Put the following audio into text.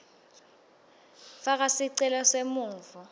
faka sicelo semvumo